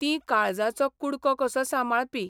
तीं काळजाचो कुडको कसो सांबाळपी.